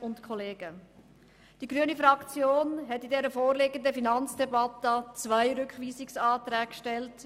Die grüne Fraktion hat im Rahmen dieser Finanzdebatte zwei Rückweisungsanträge gestellt.